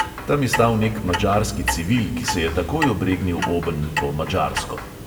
Tam je stal nek madžarski civil, ki se je takoj obregnil obenj po madžarsko.